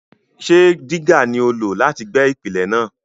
Ṣé dígà ni o lò láti gbẹ́ ìpìlẹ̀ náà?